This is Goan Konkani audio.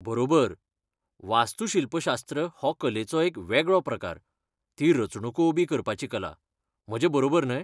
बरोबर! वास्तूशिल्पशास्त्र हो कलेचो एक वेगळो प्रकार, ती रचणुको उबी करपाची कला. म्हजें बरोबर न्हय?